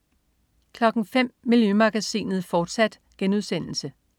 05.00 Miljømagasinet, fortsat*